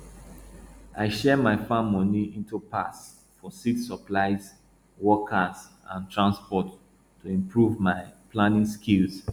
i share my farm money into parts for seeds supplies workers and transport to improve my planning skills